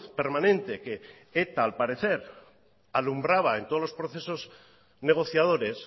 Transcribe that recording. permanente que eta al parecer alumbraba en todos los procesos negociadores